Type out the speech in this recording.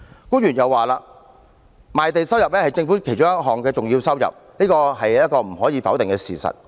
官員又說，賣地收入是政府其中一項重要收入，這是無可否認的事實。